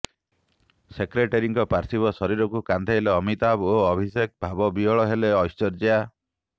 ସେକ୍ରେଟେରୀଙ୍କ ପାର୍ଥିବ ଶରୀରକୁ କାନ୍ଧେଇଲେ ଅମିତାଭ ଓ ଅଭିଷେକ ଭାବବିହ୍ୱଳ ହେଲେ ଐଶ୍ୱର୍ଯ୍ୟା